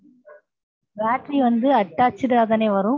battery வந்து attached தான் வரு